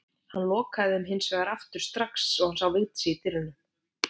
Hann lokaði þeim hins vegar strax aftur þegar hann sá Vigdísi í dyrunum.